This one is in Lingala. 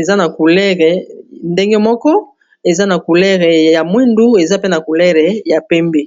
eza na coulere ndenge moko eza na coulere ya mwindu, eza pe na coulere ya pembe.